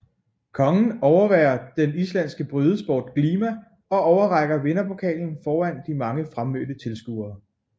Kongen overværer den islandske brydesport glima og overrækker vinderpokalen foran de mange fremmødte tilskuere